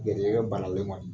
Gɛrijigɛ balalen kɔni